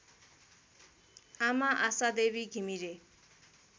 आमा आशादेवी घिमिरे